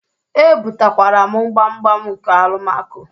Ebutakwara m gbamgbam nke Alụmako.